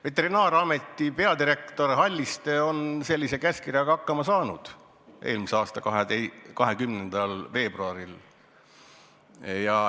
Veterinaar- ja Toiduameti peadirektor Halliste on sellise käskkirjaga hakkama saanud eelmise aasta 20. veebruaril.